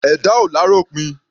Ẹ̀dá ò l'áròpin.